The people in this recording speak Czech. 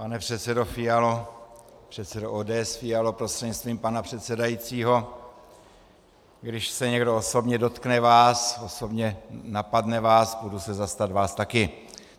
Pane předsedo Fialo, předsedo ODS Fialo prostřednictvím pana předsedajícího, když se někdo osobně dotkne vás, osobně napadne vás, půjdu se zastat vás taky.